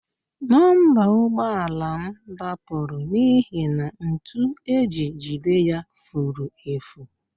Nọmba ụgbọala m dapụrụ n'ihi na ntu e ji jide ya furu efu